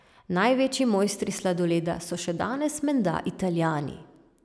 Največji mojstri sladoleda so še danes menda Italijani.